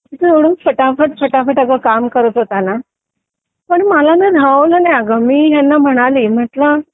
तिथे एवढा फटाफट फटाफट अगं काम करत होता ना गं पण मला ना राहुल नाही अगं मी ह्यांना म्हणाले म्हंटलं